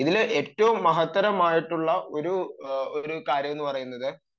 ഇതിൽ ഏറ്റവും മഹത്തരമായിട്ടുള്ള ഒരു കാര്യം എന്ന് പറയുന്നത്